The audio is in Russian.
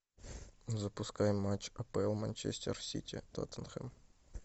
запускай матч апл манчестер сити тоттенхэм